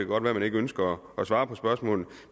godt være man ikke ønsker at svare på spørgsmålet